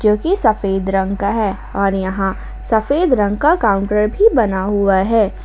जो कि सफेद रंग का है और यहां सफेद रंग का काउंटर भी बना हुआ हैं।